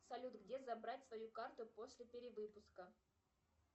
салют где забрать свою карту после перевыпуска